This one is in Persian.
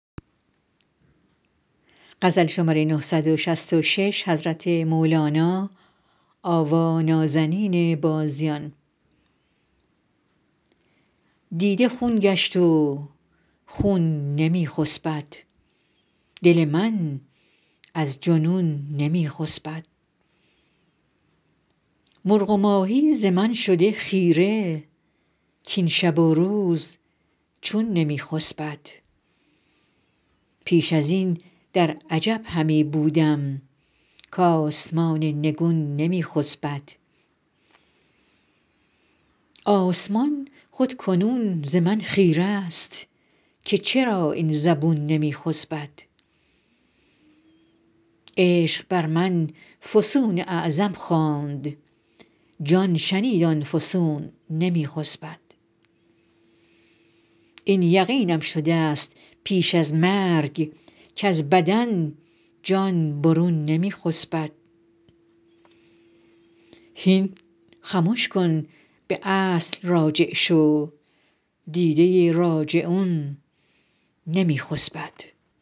دیده خون گشت و خون نمی خسبد دل من از جنون نمی خسبد مرغ و ماهی ز من شده خیره کاین شب و روز چون نمی خسبد پیش از این در عجب همی بودم کآسمان نگون نمی خسبد آسمان خود کنون ز من خیره است که چرا این زبون نمی خسبد عشق بر من فسون اعظم خواند جان شنید آن فسون نمی خسبد این یقینم شدست پیش از مرگ کز بدن جان برون نمی خسبد هین خمش کن به اصل راجع شو دیده راجعون نمی خسبد